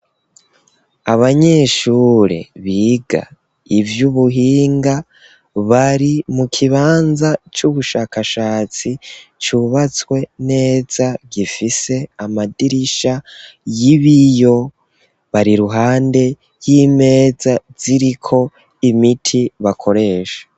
Abanyeshure biga ivy'ubuhinga, bari mu kibanza c'ubushakashatsi c'ubatswe neza, gifise amadirisha y'ibiyo, bari iruhande y'imeza ziriko imiti bakoresha.